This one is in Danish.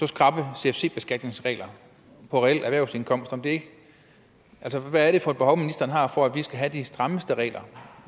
skrappe cfc beskatningsregler på reel erhvervsindkomst hvad er det for et behov ministeren har for at vi skal have de strammeste regler